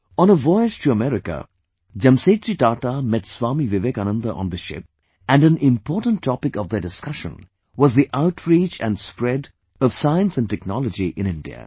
On a voyage to America, Jamsetji Tata met Swami Vivekananda on the ship, and an important topic of their discussion was the outreach & spread of Science & Technology in India